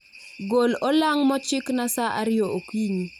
Gol olang' mochikna sa ariyo okinyi